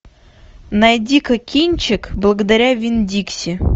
найди ка кинчик благодаря винн дикси